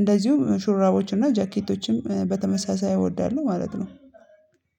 እንደዚሁም ሹራቦችና ጃኬቶችም በተመሳሳይ እወዳለሁ ማለት ነው።